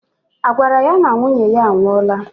I gwara ya na nwunye ya a nwụọla?